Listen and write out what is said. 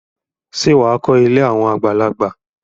Ṣé wà á kọ́ ilé àwọn àgbàlagbà?